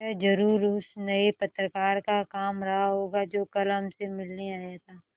यह ज़रूर उस नये पत्रकार का काम रहा होगा जो कल हमसे मिलने आया था